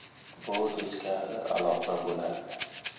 Bu teskari aloqa bo‘ladi.